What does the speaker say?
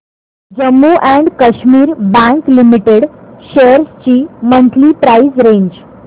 Jammu and Kashmir bank limited shares ची monthly price range